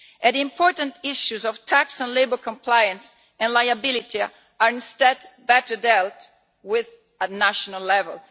The important issues of tax and labour compliance and liability are instead better dealt with at national level.